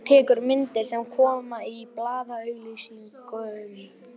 Tekur myndir sem koma í blaðaauglýsingum.